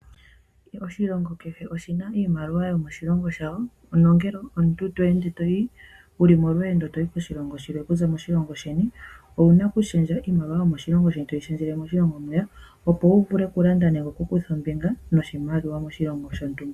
Oshilongo kehe osho na iimaliwa yo moshilongo shawo, nongele omutu te ende tayi ko shilongo shilwe kuza sheni owu na oku shendja iimaliwa yomoshilongo shoye to yi shendjele moshilongo mwiya opo wu vule oku landa nenge kutha ombinga noshimaliwa moshilongo shontumba.